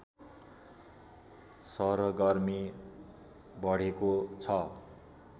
सरगर्मी बढेको छ